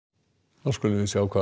þá skulum við sjá hvað